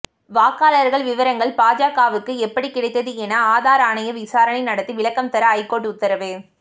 வாக்காளர்கள் விவரங்கள் பாஜகவுக்கு எப்படி கிடைத்தது என ஆதார் ஆணையம் விசாரணை நடத்தி விளக்கம் தர ஐகோர்ட் உத்தரவு